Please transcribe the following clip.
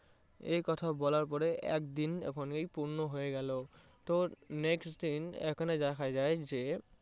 একথা বলার পরে একদিন যখন পূর্ণ হয়ে গেলো তো next দিন এখানে দেখা যায় যে